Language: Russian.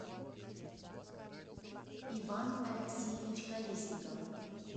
иван алексеевич колесников